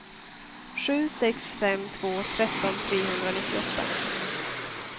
sju sex fem två tretton trehundranittioåtta